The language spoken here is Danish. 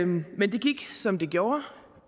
men det gik som det gjorde